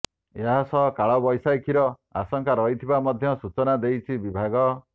ଏହାସହ କାଳବୈଶାଖୀର ଆଶଙ୍କା ରହିଥିବା ମଧ୍ୟ ସୂଚନା ଦେଇଛି ବିଭାଗ